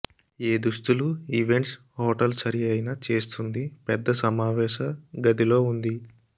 ఏ దుస్తులు events hotel సరిఅయిన చేస్తుంది పెద్ద సమావేశ గదిలో ఉంది